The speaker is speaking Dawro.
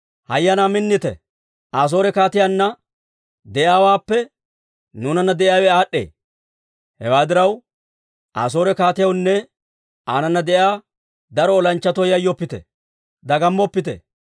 «Hayyanaa minnite! Asoore kaatiyaanna de'iyaawaappe nuunanna de'iyaawe aad'd'ee. Hewaa diraw, Asoore kaatiyawunne aanana de'iyaa daro olanchchatoo yayyoppite! Dagammoppite!